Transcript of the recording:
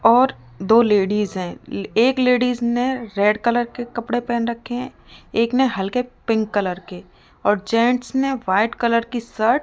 और दो लेडिस है एक लेडिस ने रेड कलर के कपड़े पहन रखे हैं एक ने हल्के पिंक कलर के और जेंट्स ने व्हाइट कलर की शर्ट --